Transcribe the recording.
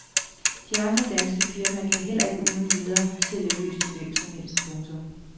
De andre danske firmaer kan heller ikke uden videre sælge løs til hvem som helst. punktum